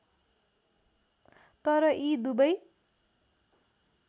तर यी दुबै